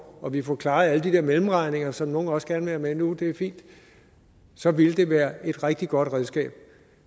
og vi får klaret alle de der mellemregninger som nogle også gerne vil have med nu og det er fint så vil det være et rigtig godt redskab